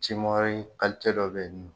Cimahi kalite dɔ bɛ yen nɔn.